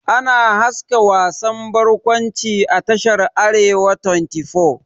Ana haska wasan bakwanci a tashar "arewa 24 ''